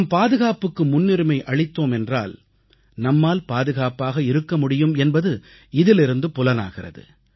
நாம் பாதுகாப்புக்கு முன்னுரிமை அளித்தோம் என்றால் நம்மால் பாதுகாப்பாக இருக்க முடியும் என்பது இதிலிருந்து புலனாகிறது